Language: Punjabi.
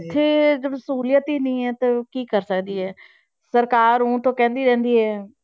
ਉੱਥੇ ਜਦੋਂ ਸਹੂਲੀਅਤ ਹੀ ਨੀ ਹੈ ਤੇ ਕੀ ਕਰ ਸਕਦੀ ਹੈ, ਸਰਕਾਰ ਊਂ ਤਾਂ ਕਹਿੰਦੀ ਰਹਿੰਦੀ ਹੈ।